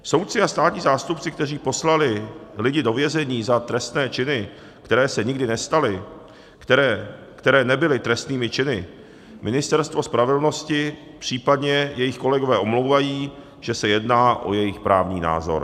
Soudci a státní zástupci, kteří poslali lidi do vězení za trestné činy, které se nikdy nestaly, které nebyly trestnými činy, Ministerstvo spravedlnosti, případně jejich kolegové omlouvají, že se jedná o jejich právní názor.